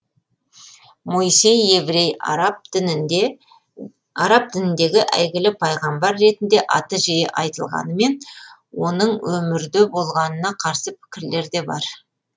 моисей еврей араб дініндегі әйгілі пайғамбар ретінде аты жиі айтылғанымен оның өмірде болғанына қарсы пікірлер де бар